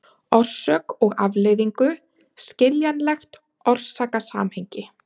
orsök og afleiðingu, skiljanlegt orsakasamhengi.